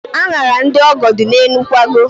Añara ndị ọgọ dị n'elu nkwago.